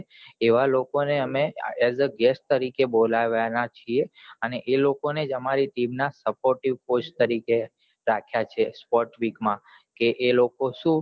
એવા લોકો ને એ જ guest તરીકે બોલાયા છે એ જ લોકો આમારી team માં અપોટી પોસ્ટ તરીકે રાખ્યા છે sport week માં એ લોકો શું